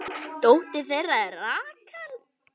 Dóttir þeirra er Rakel.